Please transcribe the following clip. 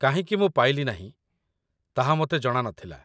କାହିଁକି ମୁଁ ପାଇଲି ନାହିଁ, ତାହା ମୋତେ ଜଣାନଥିଲା